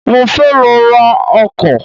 Mo fẹ́ lọ ra ọkọ́